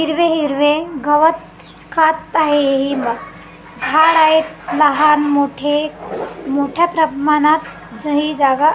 हिरवे हिरवे गवत खात आहे हि ब झाड आहेत लहान मोठे मोठ्या प्रमाणात हि जागा --